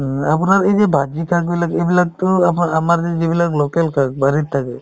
উম, আপোনাৰ এই যে শাকবিলাক এইবিলাকতো আমাৰ~ আমাৰ যে যিবিলাক local শাক বাৰীত থাকে